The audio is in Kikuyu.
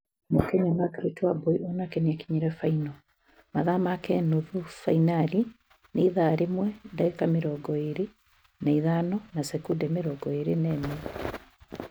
Mũkenya Margret Wambui onake nĩakinyire final mathaa make nuthu finari ni ithaa rimwe ndagĩka mĩrongo ĩĩri na ithano na sekondi mĩrongo ĩrĩ na ĩmwe